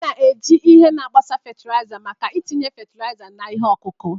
A na-eji ihe na-agbasa fatịlaịza maka itinye fatịlaịza na ihe ọkụkụ.